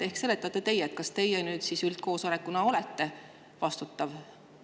Ehk seletate teie, kas teie nüüd siis üldkoosolekuna olete vastutav?